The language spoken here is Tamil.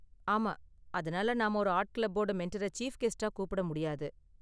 ஆமா, அதனால நாம ஒரு ஆர்ட் கிளப்போட மெண்டரை சீஃப் கெஸ்ட்டா கூப்பிட முடியாது.